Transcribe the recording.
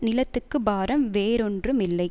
நிலத்துக்கு பாரம் வேறொன்றும் இல்லை